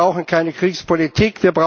Wir brauchen keine Kriegspolitik.